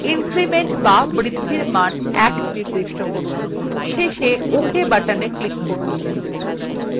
increment বা বৃদ্ধির মান 1 নির্দিষ্ট করুন শেষে ok button click করুন